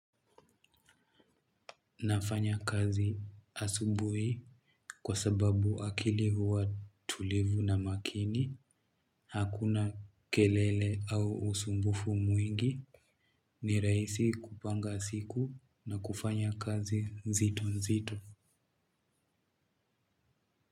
Nafanya kazi asubuhi kwa sababu akili huwa tulivu na makini, hakuna kelele au usumbufu mwingi, ni rahisi kupanga siku na kufanya kazi nzito nzito.